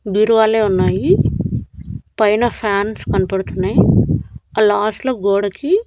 బీరువాలే ఉన్నాయి పైన ఫ్యాన్స్ కన్పడ్తున్నాయి ఆ లాస్ట్ లో గోడకి--